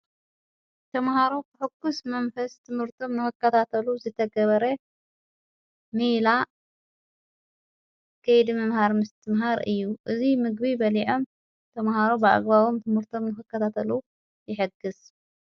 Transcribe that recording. ተምሃሮ ሕኩስ መንፈስ ትምህርቶም ነወካታተሉ ዝተገበረ መላ ኸይድ ምምሃር ምስት ምሃር እዩ። እዙይ ምግቢ በሊዖም ተምሃሮ ብዕግባቦም ትምርቶም ንኽካታተሉ የሕግሥ።